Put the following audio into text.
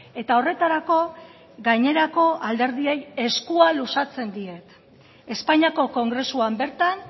eta horretarako gainerako alderdiei eskua luzatzen diet espainiako kongresuan bertan